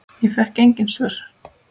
Ég fékk engin svör.